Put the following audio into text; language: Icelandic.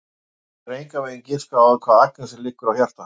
Hún getur engan veginn giskað á hvað Agnesi liggur á hjarta.